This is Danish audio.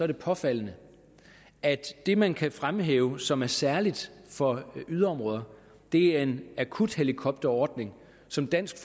det påfaldende at det man kan fremhæve som noget særligt for yderområderne er en akuthelikopterordning som dansk